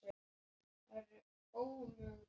Hann lyftir sér upp á bekkinn.